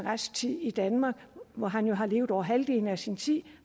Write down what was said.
tid i danmark hvor han jo har levet over halvdelen af sin tid